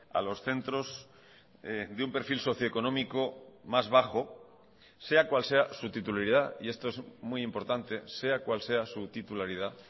a los centros de un perfil socioeconómico más bajo sea cual sea su titularidad y esto es muy importante sea cual sea su titularidad